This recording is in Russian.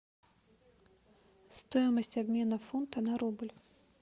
стоимость обмена фунта на рубль